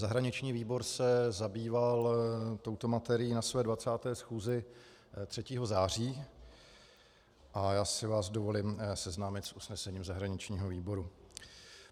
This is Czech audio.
Zahraniční výbor se zabýval touto materií na své 20. schůzi 3. září a já si vás dovolím seznámit s usnesením zahraničního výboru.